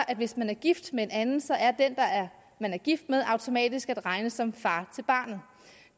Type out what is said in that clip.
at hvis man er gift med en anden så er den man er gift med automatisk at regne som far til barnet